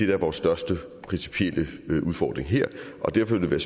er vores største principielle udfordring her og derfor ville det